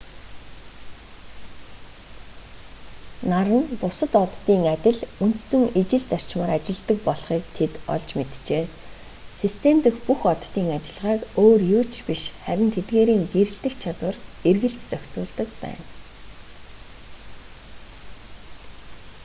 нар нь бусад оддын адил үндсэн ижил зарчмаар ажилладаг болохыг тэд олж мэджээ систем дэх бүх оддын үйл ажиллагааг өөр юу ч биш харин тэдгээрийн гэрэлтэх чадвар эргэлт зохицуулдаг байна